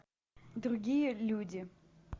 другие люди